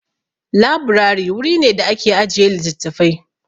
Laburari wuri ne da ake ajiye littafafai.